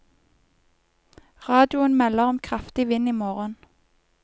Radioen melder om kraftig vind i morgen.